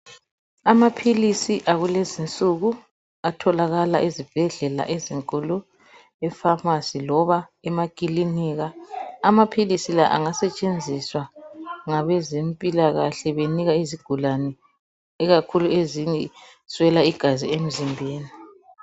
Amapilisi akulezinsuku, atholakala ezibhedlela ezinkulu, efamasi loba emakilinika. Amapilisi la angasetshenziswa ngabezemphilakahle benika izigulane, ikakhulu eziswela igazi emzimbeni.